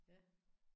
Ja